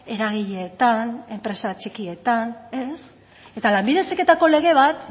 eragileetan enpresa txikietan ez eta lanbide heziketako lege bat